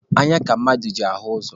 Anya ka mmadụ ji ahụ ụzọ.